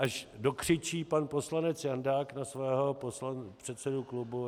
Až dokřičí pan poslanec Jandák na svého předsedu klubu...